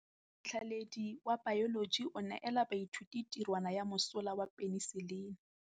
Motlhatlhaledi wa baeloji o neela baithuti tirwana ya mosola wa peniselene.